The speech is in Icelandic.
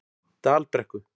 Dalbrekku